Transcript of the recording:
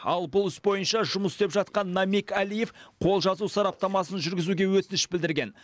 ал бұл іс бойынша жұмыс істеп жатқан намиг алиев қолжазу сараптамасын жүргізуге өтініш білдірген